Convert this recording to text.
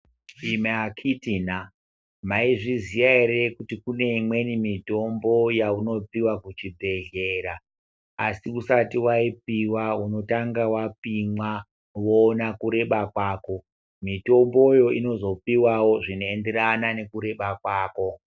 Imi akiti na, maizviziya ere kuti kune imweni mitombo yaunopiwa kuchibhedhlera, asi usati wapiwa unotanga wapimwa voona kureba kwako. Mitomboyo inozopiwawo zvinoenderana nekureba kwako.